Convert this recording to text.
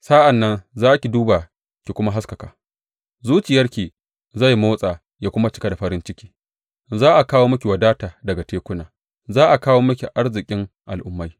Sa’an nan za ki duba ki kuma haskaka zuciyarki zai motsa ya kuma cika da farin ciki; za a kawo miki wadata daga tekuna, za a kawo miki arzikin al’ummai.